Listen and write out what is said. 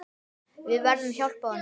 Við verðum hjálpa honum.